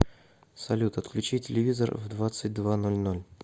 салют отключи телевизор в двадцать два ноль ноль